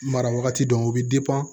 Mara wagati dɔw bɛ